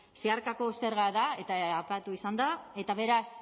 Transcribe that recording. zeharkako zerga da eta aipatu izan da eta beraz